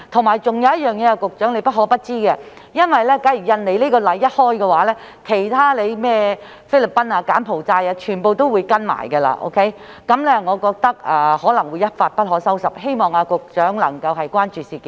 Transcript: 還有一點是局長不可不知的，假如印尼此例一開，其他如菲律賓及柬埔寨等國家也會跟隨，我覺得問題可能會一發不可收拾，希望局長能夠關注此事。